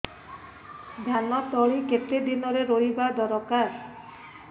ଧାନ ତଳି କେତେ ଦିନରେ ରୋଈବା ଦରକାର